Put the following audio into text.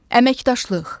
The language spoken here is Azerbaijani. Əməkdaşlıq.